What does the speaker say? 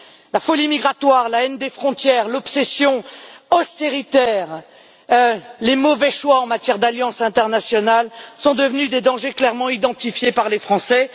La folie migratoire, la haine des frontières, l'obsession austéritaire, les mauvais choix en matière d'alliances internationales sont devenus des dangers clairement identifiés par les Français.